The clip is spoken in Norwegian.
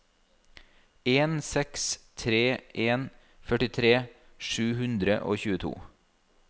en seks tre en førtitre sju hundre og tjueto